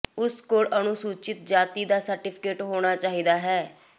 ਉਸ ਕੋਲ ਅਨੁਸੂਚਿਤ ਜਾਤੀ ਦਾ ਸਰਟੀਫਿਕੇਟ ਹੋਣਾ ਚਾਹੀਦਾ ਹੈ